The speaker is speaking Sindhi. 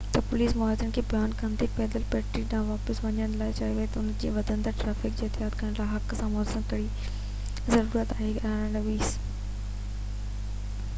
11:20 تي پوليس مظاهرين کي بيان ڪندي پيدل پٽڙي ڏانهن واپس وڃڻ لاءِ چيو ته انهن کي وڌندڙ ٽرئفڪ کي احتجاج ڪرڻ جي حق سان متوازن ڪرڻ ضرورت آهي